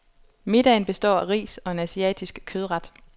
Middagen består af ris og en asiatisk kødret.